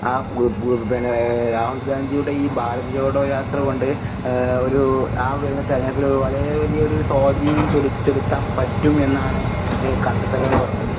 ആ പിന്നേ രാഹുൽ ഗാന്ധിയുടെ ഈ ഭാരത് യാത്രകൊണ്ട് ഏഹ് ഒരൂ ആ വരുന്ന തെരഞ്ഞെടുപ്പിൽ ഒരു വളരെ വലിയൊരു സ്വാധീനം ചൊലു ചെലുത്താൻ പറ്റും എന്നാണ് എഹ് കണ്ടെത്തലുകൾ പറഞ്ഞത്.